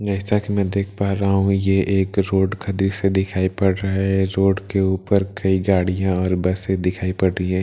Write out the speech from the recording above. जैसा कि मैं देख पा रहा हूं ये एक रोड का दृश्य दिखाई पड़ रहा है रोड के ऊपर कई गाड़ियां और बसें दिखाई पड़ रही है --